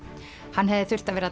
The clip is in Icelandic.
hann hefði þurft að vera